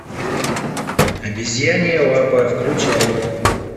обезьянья лапа включай